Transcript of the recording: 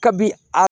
Kabini a